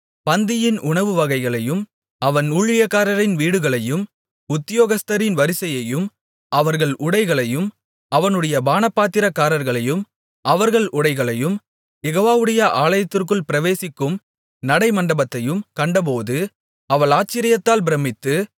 பந்தியின் உணவு வகைகளையும் அவன் ஊழியக்காரரின் வீடுகளையும் உத்தியோகஸ்தரின் வரிசையையும் அவர்கள் உடைகளையும் அவனுடைய பானபாத்திரக்காரர்களையும் அவர்கள் உடைகளையும் யெகோவாவுடைய ஆலயத்திற்குள் பிரவேசிக்கும் நடைமண்டபத்தையும் கண்டபோது அவள் ஆச்சரியத்தால் பிரமித்து